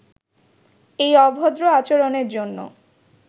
এই অভদ্র আচরণের জন্য